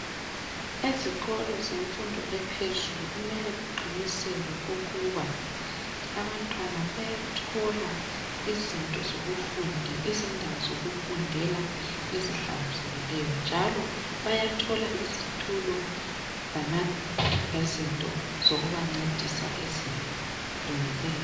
Ezikolo zemfundo ephezule kumele kuqiniseke ukuba abantwana bayathola izindawo zokufundela ezihlanzekileyo. Njalo bayathola izitulo lezinto zokubancedisa ezilungileyo.